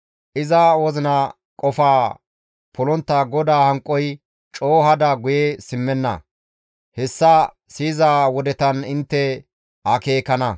Iza wozina qofaa polontta GODAA hanqoy coo hada guye simmenna; hessa yiza wodetan intte akeekana.